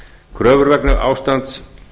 kröfur vegna ástands